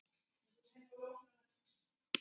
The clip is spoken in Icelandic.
Og hefur ánægju af.